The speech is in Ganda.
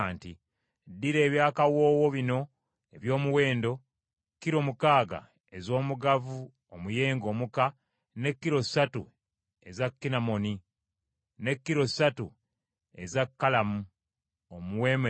“Ddira ebyakawoowo bino eby’omuwendo: Kiro mukaaga ez’omugavu omuyenge omuka, ne kiro ssatu eza kinamoni, ne kiro ssatu eza kalamu omuwoomerevu;